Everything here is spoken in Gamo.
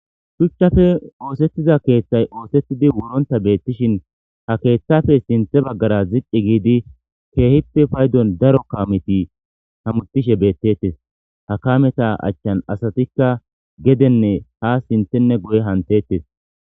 Shuchchafe oosettiza keeththay oosettidi wuronta beettishin ha keeththafe sinthe baggara ziqi giidi keehippe paydon daro kaameti hamutishe beettettes ha kameta achchan asatikka gedenne ha sinthenne goye hantettes.